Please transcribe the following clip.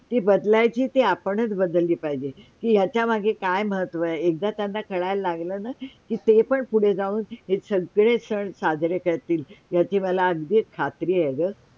जी बदलायची ती आपणच बदलली पाहिजे की त्याच्या मागे काय महत्व आहे हे त्यांना एकदा कळायला लागलं ना के ते पण पुढे जाउन हे सगळे सण साजरे करतील त्याची मला अगदीच खात्री आहे ग